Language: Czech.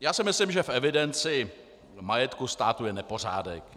Já si myslím, že v evidenci majetku státu je nepořádek.